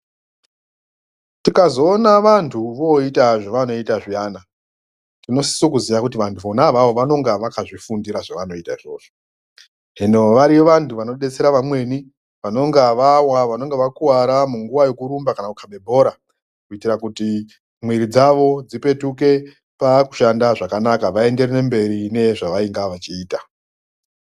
Tikazoona vantu voita zvavanoiita zviyana tinosisa kuziva kuti vantu vona ivavo vanenge vakazvifundira zvavanoita izvozvo hino variyo vantu vanodetsera vamweni vanonga vawa vanonga vakuvara munguva kuyekurumba kana kukhaba bhora kuitira kuti mwiri dzavo dzipetuke pakushanda zvakanaka vaenderere mberi nezvavanga vachiita.